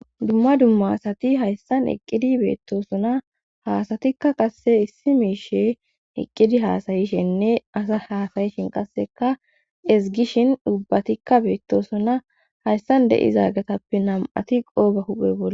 Dumma dumma asati hayssan eqqidi beettosuna haasatikka qasse issi miishe eqqidi haasayishenne asa haasayishin qasseka ezgishin dubbatikka beettosuna hayssan de'izaagatappe nam'ati qooba huphe bole.